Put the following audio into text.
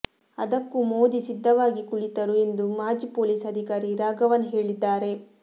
ಅದಕ್ಕೂ ಮೋದಿ ಸಿದ್ದವಾಗಿ ಕುಳಿತರು ಎಂದು ಮಾಜಿ ಪೊಲೀಸ್ ಅಧಿಕಾರಿ ರಾಘವನ್ ಹೇಳಿದ್ದಾರೆ